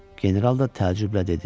General da təəccüblə dedi.